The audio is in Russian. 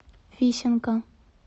фисенко